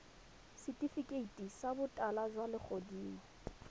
setifikeiti sa botala jwa legodimo